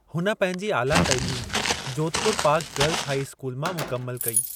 हुन पंहिंजे आला तइलीम Jodhpur park girls high school मां मुकमिलु कई।